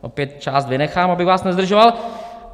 Opět část vynechám, abych vás nezdržoval.